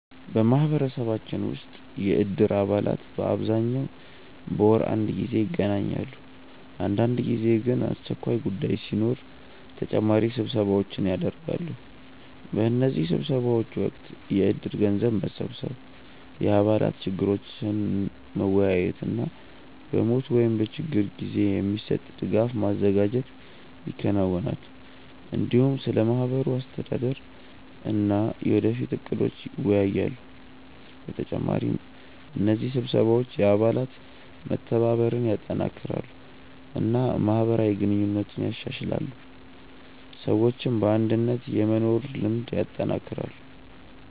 በማህበረሰባችን ውስጥ የእድር አባላት በአብዛኛው በወር አንድ ጊዜ ይገናኛሉ። አንዳንድ ጊዜ ግን አስቸኳይ ጉዳይ ሲኖር ተጨማሪ ስብሰባዎች ይደርሳሉ። በእነዚህ ስብሰባዎች ወቅት የእድር ገንዘብ መሰብሰብ፣ የአባላት ችግሮችን መወያየት እና በሞት ወይም በችግር ጊዜ የሚሰጥ ድጋፍ ማዘጋጀት ይከናወናል። እንዲሁም ስለ ማህበሩ አስተዳደር እና የወደፊት እቅዶች ይወያያሉ። በተጨማሪ እነዚህ ስብሰባዎች የአባላት መተባበርን ያጠናክራሉ እና ማህበራዊ ግንኙነትን ያሻሽላሉ፣ ሰዎችም በአንድነት የመኖር ልምድ ያጠናክራሉ።